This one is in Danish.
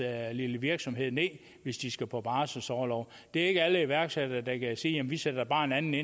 lille virksomhed ned hvis de skal på barselsorlov det er ikke alle iværksættere der kan sige vi sætter bare en anden